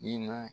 I na